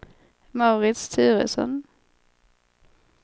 Mauritz Turesson